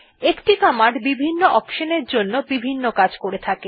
একটি কমান্ড বিভিন্ন অপশন এর জন্য বিভিন্ন কাজ করে থাকে